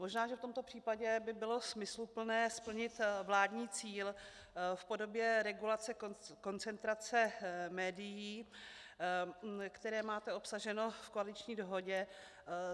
Možná že v tomto případě by bylo smysluplné splnit vládní cíl v podobě regulace koncentrace médií, které máte obsaženo v koaliční dohodě.